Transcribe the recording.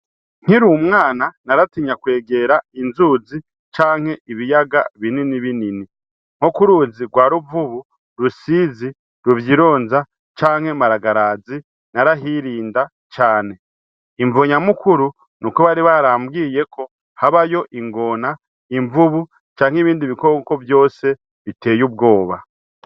Nkiri umwana naratinya kwegera inzuzi canke ibiyaga binini binini, nko ku ruzi rwa Ruvubu, Rusizi, Ruvyironza canke Maragarazi narahirinda cane, imvo nyamukuru nuko bari barambwiye ko habayo ingona, imvubu canke ibindi bikoko vyose biteye ubwoba.